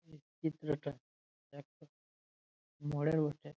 চিত্রটা একটা মোড়ের বটে ।